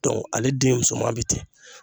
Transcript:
Dɔn ale den musoman be ten